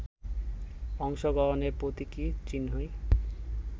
অংশগ্রহণের প্রতীকী চিহ্নই